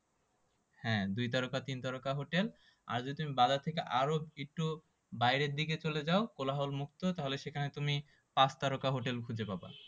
হ্যাঁ, দুই তারকা তিন তারকা হোটেল আর যদি তুমি বাজার থেকে আরো একটু বাইরে দিকে চলে যাও কোলাহলমুক্ত তাহলে সেখানে তুমি পাঁচ তারকা হোটেলে খুঁজে পাবা